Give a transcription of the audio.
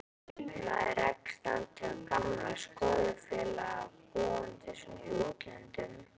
Maður rekst aldrei á gamla skólafélaga, búandi svona í útlöndum.